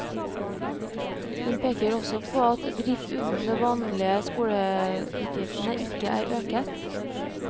Hun peker også på at at drift utenom vanlige skoleutgifter ikke er øket.